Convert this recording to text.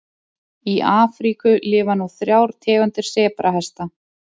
Í Afríku lifa nú þrjár tegundir sebrahesta.